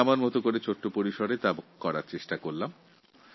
আমি আমার মতো করে এই কাজ করার একটা ছোট্ট প্রয়াস করেছি